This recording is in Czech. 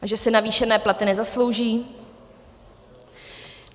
A že si navýšené platy nezaslouží?